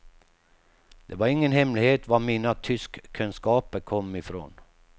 Det var ingen hemlighet var mina tyskkunskaper kom ifrån.